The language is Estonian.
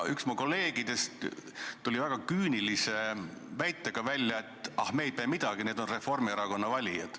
Üks kolleegidest tuli välja väga küünilise väitega, et ah, me ei pea midagi tegema, need on Reformierakonna valijad.